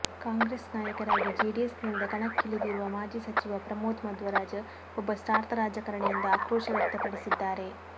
ಕಾಂಗ್ರೆಸ್ ನಾಯಕರಾಗಿ ಜೆಡಿಎಸ್ ನಿಂದ ಕಣಕ್ಕಿಳಿದಿರುವ ಮಾಜಿ ಸಚಿವ ಪ್ರಮೋದ್ ಮಧ್ವರಾಜ್ ಒಬ್ಬ ಸ್ಚಾರ್ಥ ರಾಜಕಾರಣಿ ಎಂದು ಆಕ್ರೋಶ ವ್ಯಕ್ತಪಡಿಸಿದ್ದಾರೆ